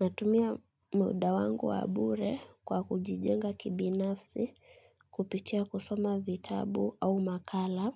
Natumia muda wangu wabure kwa kujijenga kibinafsi, kupitia kusoma vitabu au makala